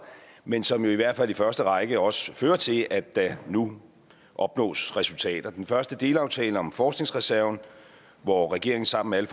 men som jo i hvert fald i første række også fører til at der nu opnås resultater den første delaftale er om forskningsreserven hvor regeringen sammen med